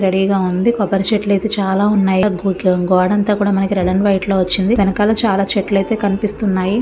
Ready గా ఉంది. కొబ్బరి చెట్లు అయితే చాలా ఉన్నాయి. గూట్లో గోడంతా కూడా రెడ్ అండ్ వైట్ లో వచ్చింది. వెనకాల చాలా చెట్లతో కనిపిస్తుంది.